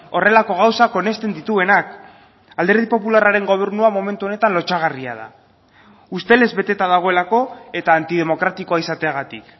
horrelako gauzak onesten dituenak alderdi popularraren gobernua momentu honetan lotsagarria da ustelez beteta dagoelako eta antidemokratikoa izateagatik